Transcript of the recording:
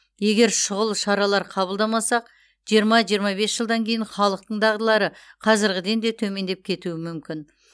егер шұғыл шаралар қабылдамасақ жиырма жиырма бес жылдан кейін халықтың дағдылары қазіргіден де төмендеп кетуі мүмкін